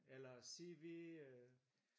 Eller CV øh